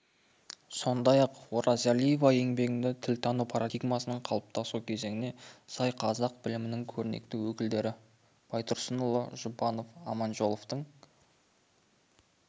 сондай-ақ оразалиева еңбегінде тілтану парадигмасының қалыптасу кезеңіне сай қазақ тіл білімінің көрнекті өкілдері байтұрсынұлы жұбанов аманжоловтың